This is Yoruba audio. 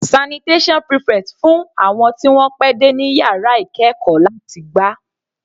Sanitation prefect fún àwọn tí wọ́n pẹ́ dé ní yàrá ìkẹ́ẹ̀kọ́ láti gbá.